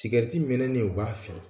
Tigɛriti mɛnɛnen, u b'a fili.